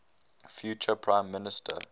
future prime minister